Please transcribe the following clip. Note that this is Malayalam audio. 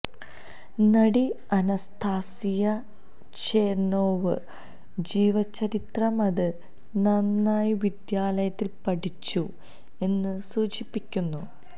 നടി അനസ്താസിയ ഛെര്നൊവ ജീവചരിത്രം അത് നന്നായി വിദ്യാലയത്തിൽ പഠിച്ചു എന്ന് സൂചിപ്പിക്കുന്നത്